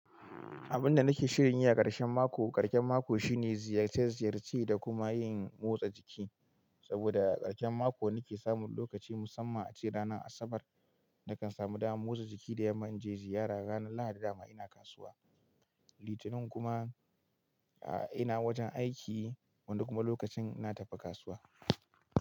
Abin da nake shirin yi a karshen mako, karshen mako shine ziyace ziyarce da kuma yin motsa jiki. Saboda karshen mako nake samun lokaci musamman ace ranar Asabar nakan samu dama motsa jiki da yamma in je ziyara. Ranar Lahadi dama ina kasuwa, Litinin kuma ina wajen aiki wanda kuma lokacin ina tafi kasuwa.